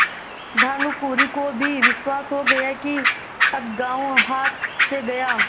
भानुकुँवरि को भी विश्वास हो गया कि अब गॉँव हाथ से गया